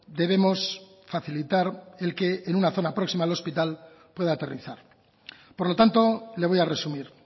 debemos facilitar el que en una zona próxima al hospital pueda aterrizar por lo tanto le voy a resumir